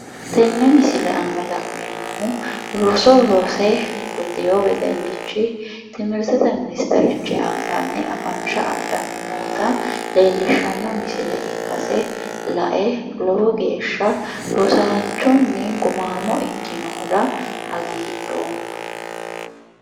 Tenne misile la'neemmohu roso rose gudewo wedellichi timirtete ministerichi anganni afansha adhanni noota leellishshanno misile ikkase lae lowo geeshsha rosaanchunni gumaamo ikkinohura hagiidhoomma.